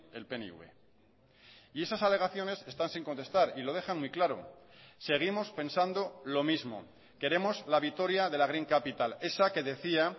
el pnv y esas alegaciones están sin contestar y lo dejan muy claro seguimos pensando lo mismo queremos la vitoria de la green capital esa que decía